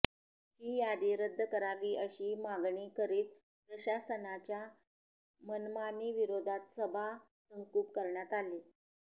ही यादी रद्द करावी अशी मागणी करीत प्रशासनाच्या मनमानीविरोधात सभा तहकूब करण्यात आली